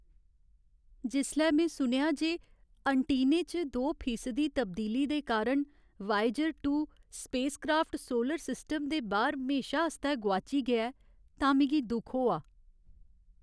जिसलै में सुनेआ जे ऐंटीने च दो फीसदी तब्दीली दे कारण वायेजर दो स्पेस क्राफ्ट सोलर सिस्टम दे बाह्‌र म्हेशां आस्तै गोआची गेआ तां मिगी दुख होआ।